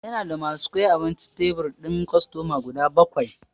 Ya na da ma su kai abinci tebur din kostoma guda bakwai.